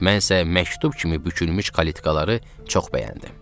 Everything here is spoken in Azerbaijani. Mən isə məktub kimi bükülmüş kalitkalara çox bəyəndim.